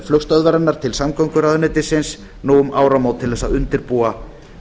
flugstöðvarinnar til samgönguráðuneytis nú um áramót til að undirbúa